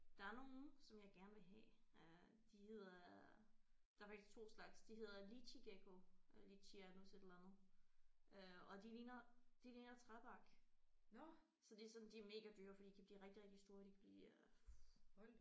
Der er nogle som jeg gerne vil have øh de hedder der er faktisk 2 slags de hedder leachiegekko øh leachieanus et eller andet øh og de ligner de ligner træbark så de er sådan de er mega dyre for de kan blive rigtig rigtig store de kan blive øh